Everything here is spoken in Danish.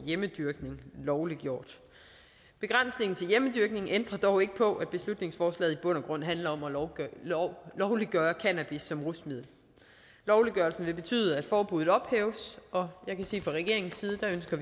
hjemmedyrkning lovliggjort begrænsningen til hjemmedyrkning ændrer dog ikke på at beslutningsforslaget i bund og grund handler om at lovliggøre cannabis som rusmiddel lovliggørelsen vil betyde at forbuddet ophæves og jeg kan sige fra regeringens side